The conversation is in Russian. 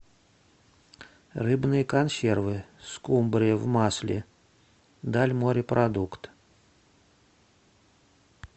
рыбные консервы скумбрия в масле дальморепродукт